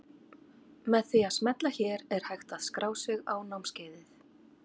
Með því að smella hér er hægt að skrá sig á námskeiðið.